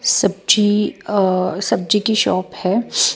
सब्जी अ सब्जी की शॉप है।